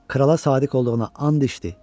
Krala sadiq olduğuna and içdi.